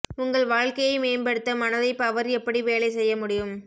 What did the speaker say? உங்கள் வாழ்க்கையை மேம்படுத்த மனதை பவர் எப்படி வேலை செய்ய முடியும்